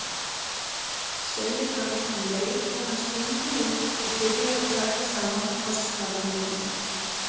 segir hann um leið og hann stingur út og byrjar að taka saman kostnaðarliðina.